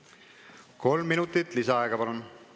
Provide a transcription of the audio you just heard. Kolm minutit lisaaega, palun!